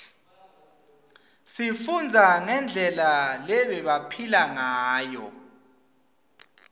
sifundza ngendlela lebebaphila ngayo